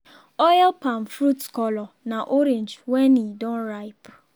oil palm fruits colour na orange wen e don ripe.